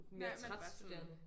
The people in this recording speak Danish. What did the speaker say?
Mere træt sådan